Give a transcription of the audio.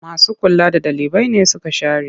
Masu kula da ɗalibai nesuka share.